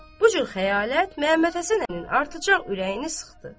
Bu cür xəyalət Məhəmməd Həsən əminin artacaq ürəyini sıxdı.